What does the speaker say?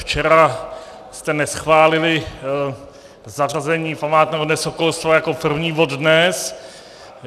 Včera jste neschválili zařazení památného Dne sokolstva jako první bod dnes.